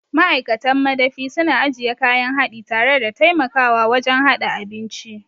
Ma'aikatan madafi suna ajiye kayan haɗi tare da taimakawa wajen haɗa abinci.